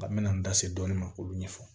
An me na n da se dɔɔnin ma k'olu ɲɛfɔ